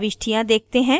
हम प्रविष्टियाँ देखते हैं